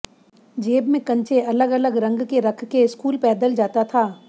जेब में कंचे अलग अलग रंग के रख के स्कूल पैदल जाता था